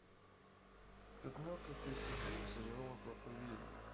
пятнадцатый сезон сериала проповедник